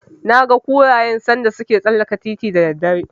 Naga kurayen sanda suke tsallaka titin da daddare.